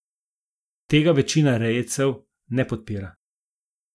Tega večina rejcev ne podpira.